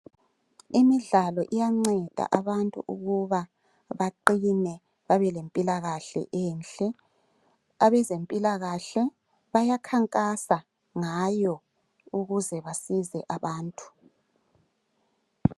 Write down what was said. Imidlalo iyanceda abantu ukuba baqine babelempilakahle enhle abezempilakahle bayakhankasa ngayo ukuze basize abantu.